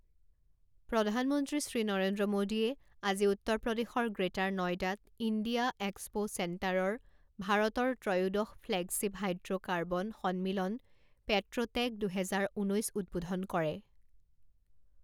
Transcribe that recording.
প্ৰধানমন্ত্ৰী শ্ৰী নৰেন্দ্ৰ মোদীয়ে আজি উত্তৰ প্ৰদেশৰ গ্ৰেটাৰ নয়ডাত ইণ্ডিয়া এক্সপো চেন্টাৰৰ ভাৰতৰ ত্ৰয়োদশ ফ্লেগশ্বিপ হাইড্ৰো কাৰ্বন সন্মিলন পেট্ৰোটেক দুহেজাৰ ঊনৈছ উদ্বোধন কৰে।